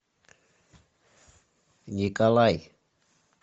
николай